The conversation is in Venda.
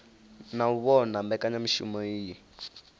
na u vhona mbekanyamushumo iyi